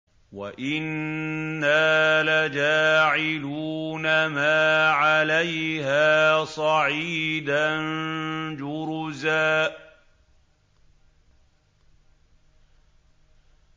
وَإِنَّا لَجَاعِلُونَ مَا عَلَيْهَا صَعِيدًا جُرُزًا